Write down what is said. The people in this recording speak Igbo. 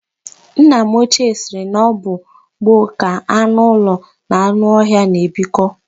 Nna m ochie sịrị na ọ bụ na gboo ka anụ ụlọ na anụ ọhịa na-ebikọ.